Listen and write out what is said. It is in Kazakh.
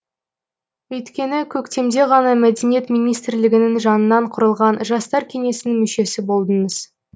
өйткені көктемде ғана мәдениет министрлігінің жанынан құрылған жастар кеңесінің мүшесі болдыңыз